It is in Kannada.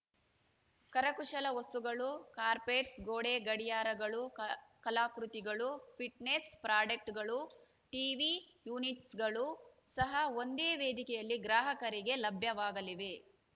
ಕರಕುಶಲ ವಸ್ತುಗಳು ಕಾರ್ಪೆಟ್ಸ್‌ ಗೋಡೆ ಗಡಿಯಾರಗಳುಕ ಕಲಾಕೃತಿಗಳು ಫಿಟ್‌ನೆಸ್‌ ಪ್ರಾಡೆಕ್ಟ್ಗಳು ಟಿವಿ ಯೂನಿಟ್ಸ್‌ಗಳು ಸಹ ಒಂದೇ ವೇದಿಕೆಯಲ್ಲಿ ಗ್ರಾಹಕರಿಗೆ ಲಭ್ಯವಾಗಲಿವೆ